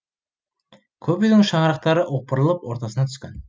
көп үйдің шаңырақтары опырылып ортасына түскен